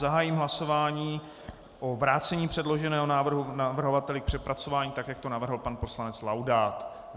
Zahájím hlasování o vrácení předloženého návrhu navrhovateli k přepracování tak, jak to navrhl pan poslanec Laudát.